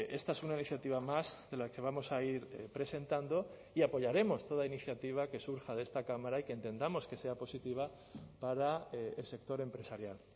esta es una iniciativa más de la que vamos a ir presentando y apoyaremos toda iniciativa que surja de esta cámara y que entendamos que sea positiva para el sector empresarial